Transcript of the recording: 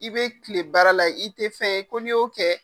I bɛ tile baara la i tɛ fɛn fɔ n'i y'o kɛ